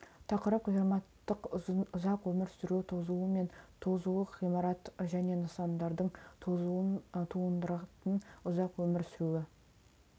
тақырып ғимараттың ұзақ өмір сүру тозуы мен тозуы ғимарат және нысандардың тозуын тудыратын ұзақ өмір сүруі